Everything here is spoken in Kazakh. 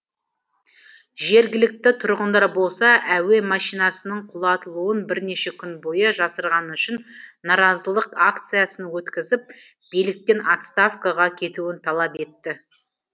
жергілікті тұрғындар болса әуе машинасының құлатылуын бірнеше күн бойы жасырғаны үшін наразылық акциясын өткізіп биліктен отставкаға кетуін талап етті